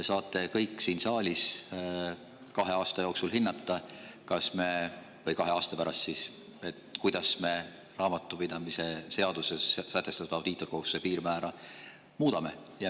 Te kõik saate siin saalis kahe aasta pärast hinnata, kuidas me raamatupidamise seaduses sätestatud audiitorkohustuste piirmäära muudame.